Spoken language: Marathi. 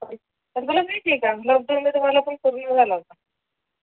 या तुला माहिती का लोकडवून मध्ये मला पण कोरोना झाला होता